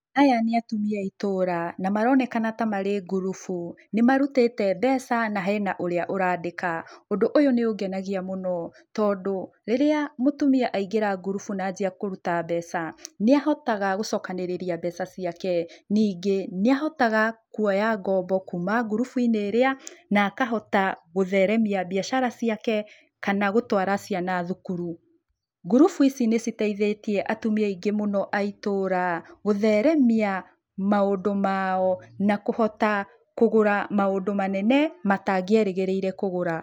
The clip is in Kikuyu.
Aya nĩ atumia aitũra, na maronekana tamarĩ ngurubu, nĩ marutĩte mbeca na hena ũrĩa ũrandĩka, ũndũ ũyu nĩ ũngenagia mũno, tondũ, rĩrĩa mũtumia aingĩra ngurubu na anjia kũruta mbeca nĩahotaga gũcokanĩrĩria mbeca ciake, ningĩ, nĩahotaga kwoya ngobo kuuma ngurubu - inĩ ĩrĩa na kahota gũtheremia biacara ciake kana gũtwara ciana thukuru, ngurubu ici nĩciteithĩtie atumia aingĩ muno aitũra gũtheremia maũndũ mao na kũhota kũgura maũndũ manene matangĩerĩgĩrĩire kũgũra.